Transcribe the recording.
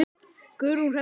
Guðrún Hrefna.